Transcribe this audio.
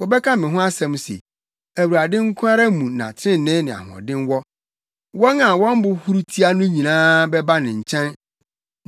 Wɔbɛka me ho asɛm se, ‘ Awurade nko ara mu na trenee ne ahoɔden wɔ.’ ” Wɔn a wɔn bo huru tia no nyinaa bɛba ne nkyɛn